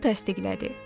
Bu təsdiqlədi.